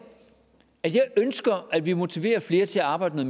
at jeg ønsker at vi motiverer flere til at arbejde